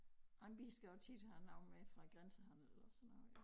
Og vi skal jo tit have noget med fra grænsehandel eller sådan noget